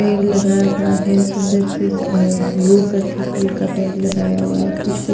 पैर लगाया हुआ है सुंदर से अ रो करके फूल का पैर लगाया हुआ है कुछ --